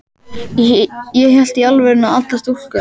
Ég hélt í alvörunni að allar stúlkur á